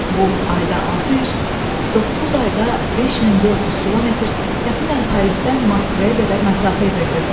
Bu ayda 600, 9 ayda 5400 km, təxminən Parisdən Moskvaya qədər məsafə edirdi.